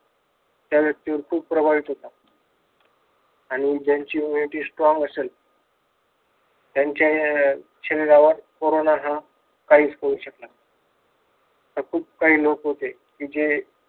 त्या व्यक्तीवर खूप प्रभावित होतात आणि ज्यांची humanity strong असलं त्यांच्या या शरीरावर कोरोना हा काहीच करू शकणार नाही आता खूप काही लोक होते आता जे